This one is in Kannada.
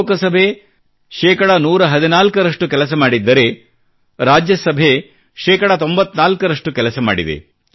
ಲೋಕಸಭೆ 114 ರಷ್ಟು ಕೆಲಸ ಮಾಡಿದ್ದರೆ ರಾಜ್ಯಸಭೆ 94 ರಷ್ಟು ಕೆಲಸ ಮಾಡಿದೆ